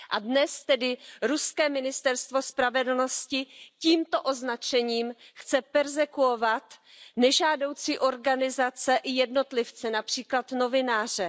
Dnes tedy ruské ministerstvo spravedlnosti tímto označením chce perzekuovat nežádoucí organizace i jednotlivce, například novináře.